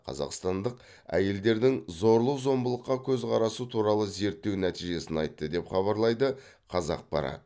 қазақстандық әйелдердің зорлық зомбылыққа көзқарасы туралы зерттеу нәтижесін айтты деп хабарлайды қазақпарат